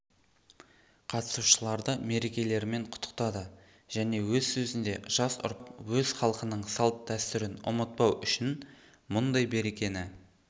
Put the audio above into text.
қатысушыларды мерекелерімен құттықтады және өз сөзінде жас ұрпақ өз халқының салт-дәстүрін ұмытпау үшін бұндай мерекені